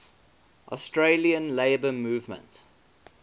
australian labour movement